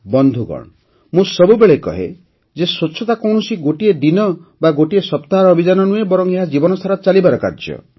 ବନ୍ଧୁଗଣ ମୁଁ ସବୁବେଳେ କହେ ଯେ ସ୍ୱଚ୍ଛତା କୌଣସି ଗୋଟିଏ ଦିନ ବା ସପ୍ତାହର ଅଭିଯାନ ନୁହେଁ ବରଂ ଏହା ଜୀବନସାରା ଚାଲିବାର କାର୍ଯ୍ୟ